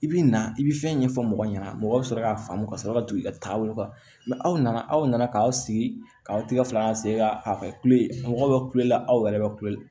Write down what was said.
I bi na i bi fɛn ɲɛfɔ mɔgɔ ɲɛna mɔgɔw bɛ sɔrɔ k'a faamu ka sɔrɔ ka tugu i ka taabolo kan mɛ aw nana aw nana k'aw sigi ka aw tigɛ fila ka se ka a kule mɔgɔw bɛ kulela aw yɛrɛ bɛ kule